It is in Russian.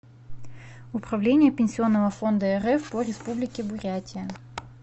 управление пенсионного фонда рф по республике бурятия